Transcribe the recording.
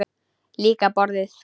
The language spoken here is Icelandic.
Líka borðið.